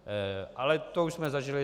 Ale to už jsme zažili.